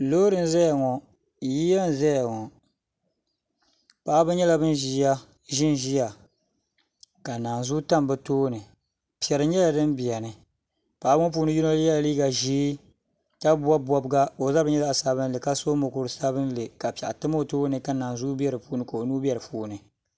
Loori n za ya ŋɔ yiya n zaya ŋɔ paɣaba yɛla bani zi n zaya ka nanzuu tam bi tooni zɛri yɛla dini bɛ ni ka bi puuni yino yiɛ liiga zɛɛ ka bɔbi bɔbiga ka o zabiri yɛ zaɣi sabinli ka so mokuri sabinli ka piɛɣu tam o tooni ka o nuu bɛ di puuni.